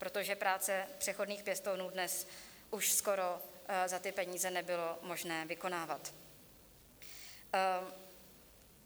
Protože práce přechodných pěstounů dnes už skoro za ty peníze nebylo možné vykonávat.